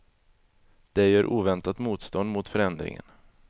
De gör oväntat motstånd mot förändringen.